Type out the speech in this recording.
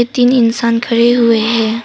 तीन इंसान खड़े हुए हैं।